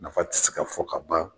Nafa tɛ se ka fɔ ka ban.